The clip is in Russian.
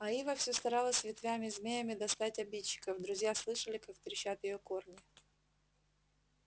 а ива все старалась ветвями-змеями достать обидчиков друзья слышали как трещат её корни